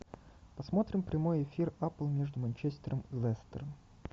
посмотрим прямой эфир апл между манчестером и лестером